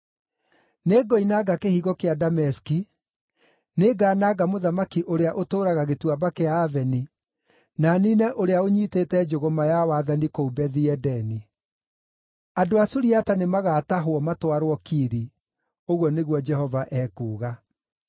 Nĩngoinanga kĩhingo kĩa Dameski; nĩngananga mũthamaki ũrĩa ũtũũraga Gĩtuamba kĩa Aveni, na niine ũrĩa ũnyiitĩte njũgũma ya wathani kũu Bethi-Edeni. Andũ a Suriata nĩmagatahwo matwarwo Kiri,” ũguo nĩguo Jehova ekuuga.